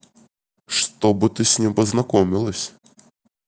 чтобы ты с ним познакомилась